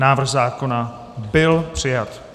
Návrh zákona byl přijat.